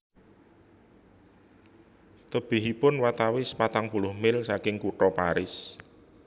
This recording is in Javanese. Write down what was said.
Tebihipun watawis patang puluh mil saking Kutha Paris